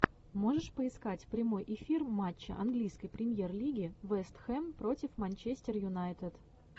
можешь поискать прямой эфир матча английской премьер лиги вест хэм против манчестер юнайтед